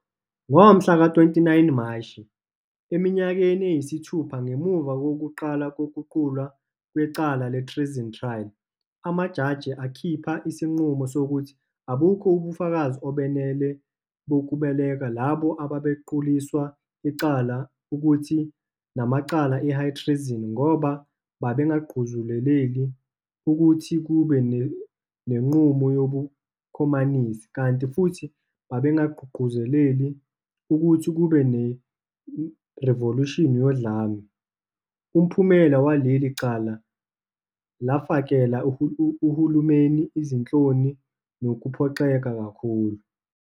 Ngomhla ka 29 Mashi, eminyakeni eyisithupha ngemuva kokuqala kokuqulwa kwecala le-Treason Trial, amajaji akhipha isinqumo, sokuthi abukho ubufakazi obenele bokubeka labo ababequliswa icala ukuba namacala, e-"high treason", ngoba babengagqugquzelelil ukuthi kube nenqubo yobukhomanisi, kanti futhi babengagqugquzeleli ukuthi kube nerivolushini yodlame, umphumela waleli cala, lafakela uhulumeni izinhloni nokuphoxeka kakhulu.